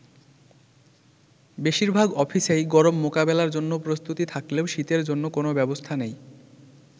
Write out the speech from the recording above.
বেশিরভাগ অফিসেই গরম মোকাবেলার জন্য প্রস্তুতি থাকলেও শীতের জন্য কোন ব্যবস্থা নেই।